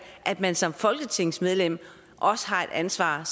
at man som folketingsmedlem også har et ansvar